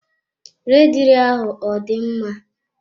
Redio ahụ ọ dị mma?